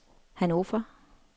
Hannover